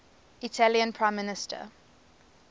italian prime minister